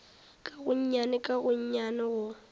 ka gonnyane ka gonnyane go